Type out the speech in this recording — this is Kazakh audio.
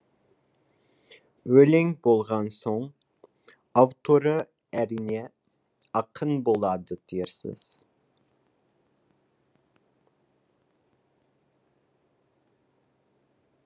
өлең болған соң авторы әрине ақын болады дерсіз